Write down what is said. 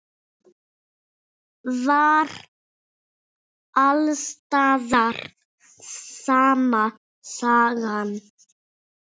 Var alls staðar sama sagan?